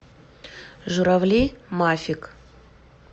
журавли мафик